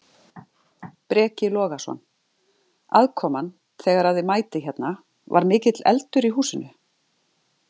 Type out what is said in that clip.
Breki Logason: Aðkoman þegar að þið mætið hérna, var mikill eldur í húsinu?